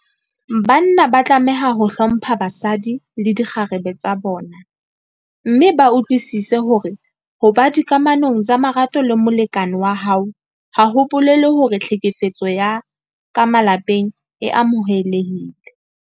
Banna ba tlameha ho hlompha basadi le dikgarebe tsa bona mme ba utlwisise hore ho ba dikamanong tsa marato le molekane wa hao ha ho bolele hore tlhekefetso ya ka malapeng e amohelehile.